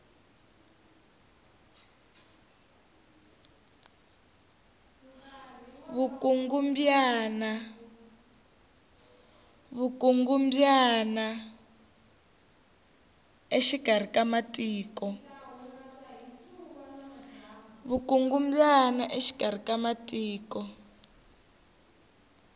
vukungumbyana exikari ka matiko